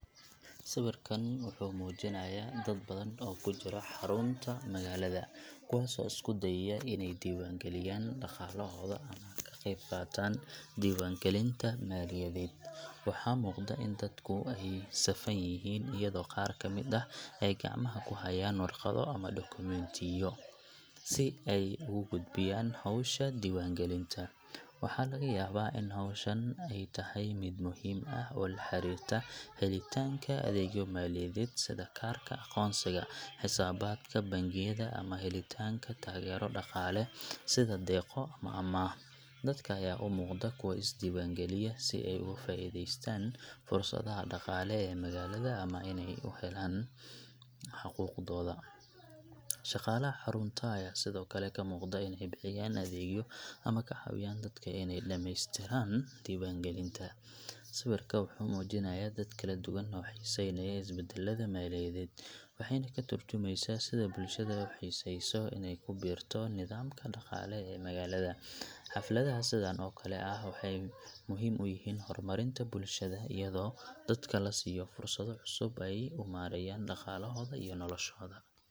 Sawirkan wuxuu muujinayaa dad badan oo ku jira xarunta magaalada, kuwaas oo isku dayaya inay diiwaangeliyaan dhaqaalahooda ama ka qayb qaataan diwaangelinta maaliyadeed. Waxaa muuqda in dadku ay safan yihiin, iyadoo qaar ka mid ah ay gacmaha ku hayaan warqado ama dukumiintiyo si ay ugu gudbiyaan hawsha diiwaangelinta. Waxaa laga yaabaa in hawshan ay tahay mid muhiim ah oo la xiriirta helitaanka adeegyo maaliyadeed sida kaarka aqoonsiga, xisaabaadka bangiyada, ama helitaanka taageero dhaqaale sida deeqo ama amaah. Dadka ayaa u muuqda kuwo is diiwaangeliya si ay uga faa'iidaystaan fursadaha dhaqaale ee magaalada ama inay u helaan xuquuqdooda. Shaqaalaha xarunta ayaa sidoo kale ka muuqda inay bixiyaan adeegyo ama ka caawiyaan dadka inay dhammeystiraan diiwaangelinta. Sawirka wuxuu muujinayaa dad kala duwan oo xiiseynaya isbeddelada maaliyadeed, waxayna ka tarjumaysaa sida bulshada u xiiseyso inay ku biirto nidaamka dhaqaale ee magaalada. Xafladaha sidaan oo kale ah waxay muhiim u yihiinhorumarinta bulshada, iyadoo dadka la siiyo fursado cusub oo ay u maareeyaan dhaqaalahooda iyo noloshooda.